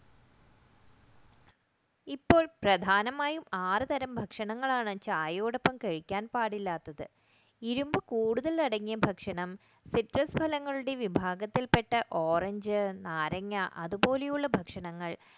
ഇപ്പോൾ പ്രധാനമായും ആറുതരം ഭക്ഷണങ്ങളാണ് ചായയോടൊപ്പം കഴിക്കാൻ പാടില്ലാത്തത് ഇരുമ്പ് കൂടുതൽ അടങ്ങിയ വ്യത്യസ്ത ഫലങ്ങളുടെ വിഭാഗത്തിൽപ്പെട്ട ഓറഞ്ച് നാരങ്ങ അതുപോലുള്ള ഭക്ഷണങ്ങൾ